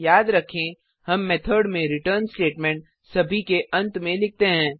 याद रखें हम मेथड में रिटर्न स्टेटमेंट सभी के अंत में लिखते हैं